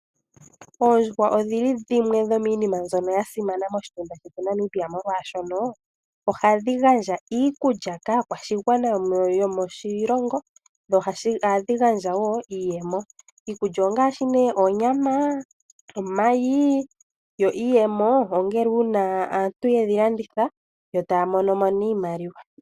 Oondjuhwa odhili dhimwe dhomiina mbyoka ya simana moshitunda shetu Namibia molwashoka oha dhi gandja iikulya kaakwashigwana yomoshilongo noha yi gandja wo iiyemo. Iikulya ongaashi ne onyama, omayi yo iiyemo ongele uuna aantu yedhi landitha yo taya monomo nee iimaliwa.